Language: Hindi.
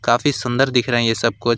काफी सुंदर दिख रहे हैं ये सब कुछ--